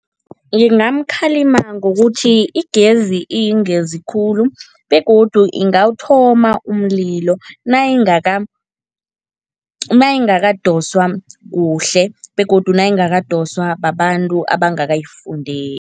Ngingamkhalima ngokuthi igezi iyingozi khulu begodu ingawuthoma umlilo nayingakadoswa kuhle begodu nayingakadoswa babantu abangakayifundeli.